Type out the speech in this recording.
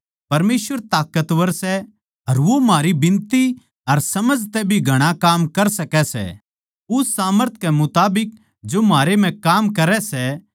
परमेसवर ताकतवर सै अर वो म्हारी बिनती अर समझ तै भी घणा काम कर सकै सै उस सामर्थ कै मुताबिक जो म्हारे म्ह काम करै सै